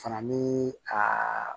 Fana ni a